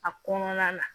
A kɔnɔna na